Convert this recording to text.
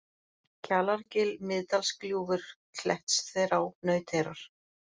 Kjalargil, Miðdalsgljúfur, Klettsþverá, Nauteyrar